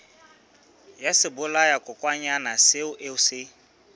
ya sebolayakokwanyana seo o se